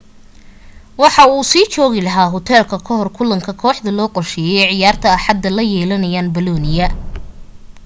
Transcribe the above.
waxa uu sii joogi lahaa hoteelka ka hor kulanka kooxda loo qorsheeyay ciyaarta axada ay la yeelanayaan bolonia